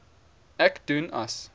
ek doen as